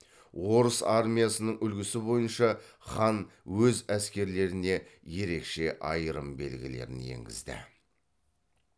орыс армиясының үлгісі бойынша хан өз әскерлеріне ерекше айырым белгілерін енгізді